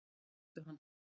Þeir skutu hann